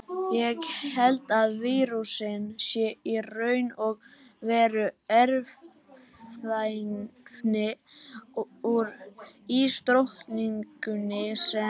Ég held að vírusinn sé í raun og veru erfðaefni úr ísdrottningunni sem.